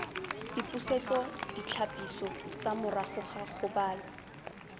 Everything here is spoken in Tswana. dipusetsoditlhapiso tsa morago ga kgobalo